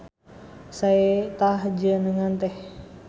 Sae tah jenengan teh.